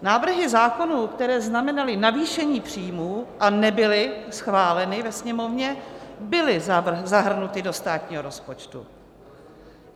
Návrhy zákonů, které znamenaly navýšení příjmů a nebyly schváleny ve Sněmovně, byly zahrnuty do státního rozpočtu.